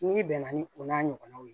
N'i bɛnna ni o n'a ɲɔgɔnnaw ye